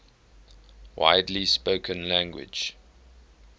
widely spoken language